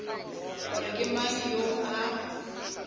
gore ke mang yo a